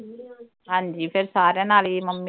ਹਾਂਜੀ ਫਿਰ ਸਾਰਿਆਂ ਨਾਲ ਈ ਮੰਮੀ